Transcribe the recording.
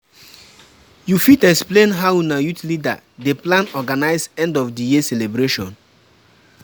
you fit explain how una youth leader dey plan organize end of the year celebration?